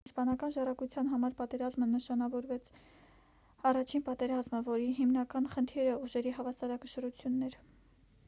իսպանական ժառանգության համար պատերազմը նշանավորեց առաջին պատերազմը որի հիմնական խնդիրը ուժերի հավասարակշռությունն էր